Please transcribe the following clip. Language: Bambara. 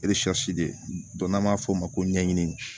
de ye n'an b'a f'o ma ko ɲɛɲini